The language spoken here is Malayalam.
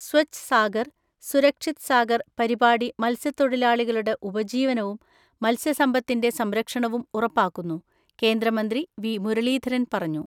സ്വച്ഛ് സാഗർ, സുരക്ഷിത് സാഗർ പരിപാടി മത്സ്യത്തൊഴിലാളികളുടെ ഉപജീവനവും മത്സ്യസമ്പത്തിന്റെ സംരക്ഷണവും ഉറപ്പാക്കുന്നു കേന്ദ്രമന്ത്രി വി മുരളീധരൻ പറഞ്ഞു.